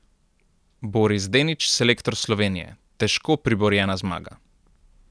Boris Denič, selektor Slovenije: 'Težko priborjena zmaga.